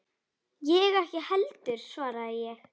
Ég ekki heldur, svaraði ég.